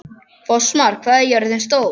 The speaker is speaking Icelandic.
Fossmar, hvað er jörðin stór?